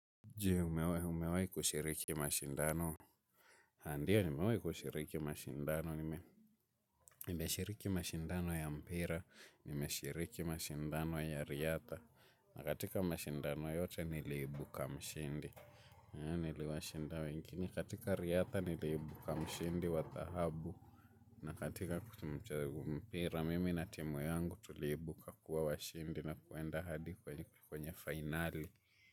Je umewai kushiriki mashindano? Ha ndiyo nimewai kushiriki mashindano. Nimeshiriki mashindano ya mpira nimeshiriki mashindano ya riatha. Na katika mashindano yote niliibuka mshindi niliwashinda wengine katika riatha niliibuka mshindi wa dhahabu. Na katika kutumcha mpira mimi na timu yangu tuliibuka kuwa washindi na kuenda hadi kwenye fainali.